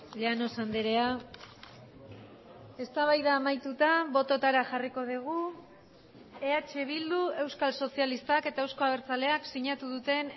llanos andrea eztabaida amaituta bototara jarriko dugu eh bildu euskal sozialistak eta euzko abertzaleak sinatu duten